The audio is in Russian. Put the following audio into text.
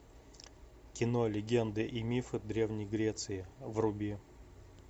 кино легенды и мифы древней греции вруби